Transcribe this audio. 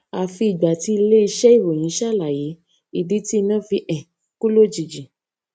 àfi ìgbà tí iléiṣé ìròyìn ṣàlàyé ìdí tí iná fi um kú lójijì